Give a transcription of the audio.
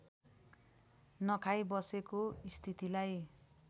नखाई बसेको स्थितिलाई